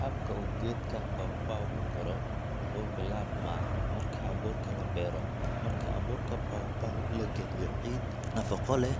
Habka uu geedka pawpaw u koro wuxuu bilaabmaa marka abuurka la beero. Marka abuurka pawpaw la geliyo ciid nafaqo leh